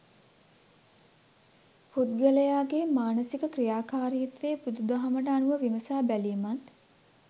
පුද්ගලයාගේ මානසික ක්‍රියාකාරිත්වය බුදුදහමට අනුව විමසා බැලීමත්